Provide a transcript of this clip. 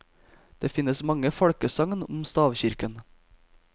Det finnes mange folkesagn om stavkirken.